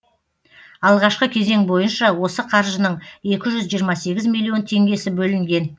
алғашқы кезең бойынша осы қаржының екі жүз жиырма сегіз миллион теңгесі бөлінген